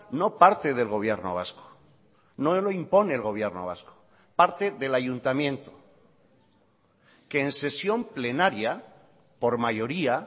no parte del gobierno vasco no lo impone el gobierno vasco parte del ayuntamiento que en sesión plenaria por mayoría